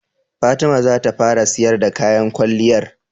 Fatima zata fara siyar da kayan kwalliyar?